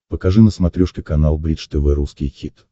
покажи на смотрешке канал бридж тв русский хит